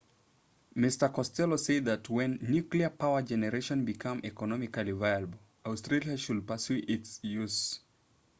mr costello said that when nuclear power generation becomes economically viable australia should pursue its use